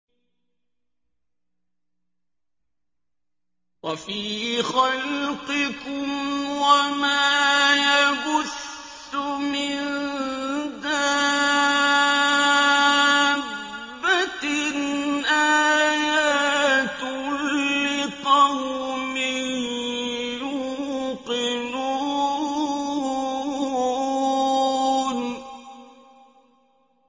وَفِي خَلْقِكُمْ وَمَا يَبُثُّ مِن دَابَّةٍ آيَاتٌ لِّقَوْمٍ يُوقِنُونَ